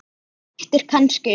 Það styttir kannski upp.